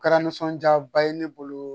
Kɛra nisɔndiyaba ye ne bolo